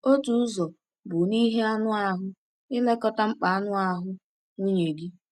Otu ụzọ bụ n’ihe anụ ahụ — ilekọta mkpa anụ ahụ nwunye gị.